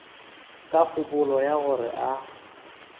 ka kgopolo ya gore a